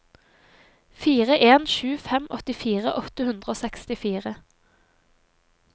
fire en sju fem åttifire åtte hundre og sekstifire